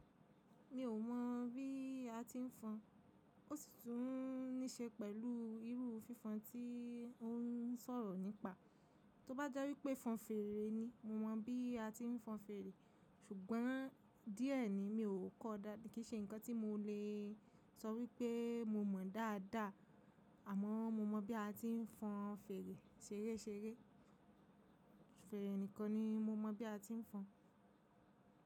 Mi ò mọ̀ bí a ti ń fọn, ó sì tún níṣe pẹ̀lú irú fífọn tí ó ń sọ̀rọ̀ nípa. Tó bá jẹ́ wípé fọn fèrè ni, mo mọ̀ bí a ti ń fọn fèrè, ṣùgbọ́n díẹ̀ ni mi ò kọ́ọ dáa, kì í ṣe ǹkan tí mo lè sọ wípé mo mọ̀ dáadáa, àmọ́ mo mọ̀ bí a ti ń fọn fèrè ṣeréṣeré. Fèèrè nìkan ni mo mọ̀ bí a ti ń fọn.